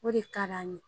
O de ka d'an ye